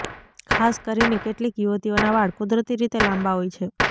ખાસ કરીને કેટલીક યુવતીઓના વાળ કુદરતી રીતે લાંબા હોય છે